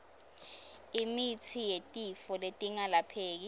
imitsi yetifo letingelapheki